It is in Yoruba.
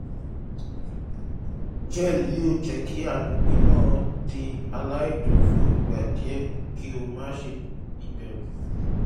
gel yoo jẹ ki agbegbe naa di alaidun fun igba diẹ ki o ma ṣe iberu